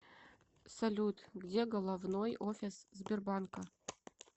салют где головной офис сбербанка